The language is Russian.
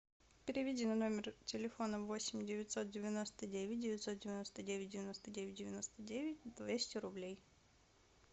переведи на номер телефона восемь девятьсот девяносто девять девятьсот девяносто девять девяносто девять девяносто девять двести рублей